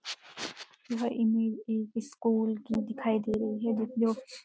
यह इमेज एक स्कूल की दिखाई दे रही है ज-जो